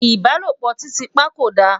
ìbálòpọ̀ titi pa kò dá